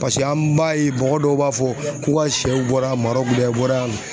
Paseke an b'a ye mɔgɔ dɔw b'a fɔ k'u ka sɛw bɔra Marɔku dɛ , bɔra yan